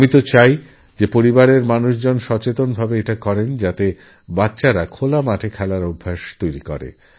আমি চাইপরিবারের লোকজন সচেতনভাবে চেষ্টা করুন যাতে বাচ্চারা খোলা মাঠে খেলাধূলা করারঅভ্যাস তৈরি করে